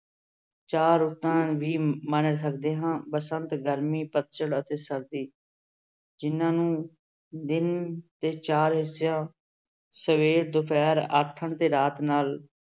ਚਾਰ ਰੁੱਤਾਂ ਵੀ ਮੰਨ ਸਕਦੇ ਹਾਂ ਬਸੰਤ, ਗਰਮੀ, ਪਤਝੜ ਅਤੇ ਸਰਦੀ ਜਿਹਨਾਂ ਨੂੰ ਦਿਨ ਦੇ ਚਾਰ ਹਿੱਸਿਆਂ ਸਵੇਰ, ਦੁਪਿਹਰ, ਆਥਣ ਤੇ ਰਾਤ ਨਾਲ